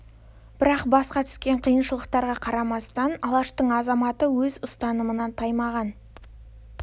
бірақ басқа түскен қиыншылықтарға қарамастан алаштың азаматы өз ұстанымынан таймаған